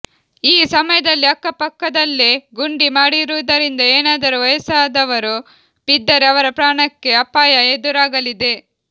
ಈ ಸಮಯದಲ್ಲಿ ಅಕ್ಕಪಕ್ಕದಲ್ಲೇ ಗುಂಡಿ ಮಾಡಿರುವುದರಿಂದ ಏನಾದರೂ ವಯಸ್ಸಾದವರು ಬಿದ್ದರೆ ಅವರ ಪ್ರಾಣಕ್ಕೆ ಅಪಾಯ ಎದುರಾಗಲಿದೆ